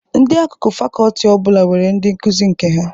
Ndị akụkụ fakọọti ọ bụla nwere ndi nkuzi nke ha.